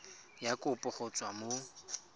ya kopo go tswa mo